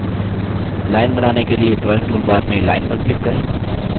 line बनाने के लिए drawing toolbar में line पर click करें